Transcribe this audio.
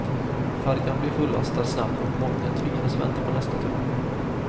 Färjan blev fullastad snabbt och många tvingades vänta på nästa tur.